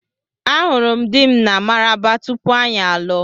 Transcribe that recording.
Ahụrụ m dị m na Maraba tupu anyị alụọ.